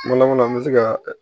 Kuma laban na an bɛ se ka